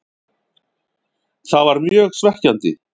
Það var mjög svekkjandi.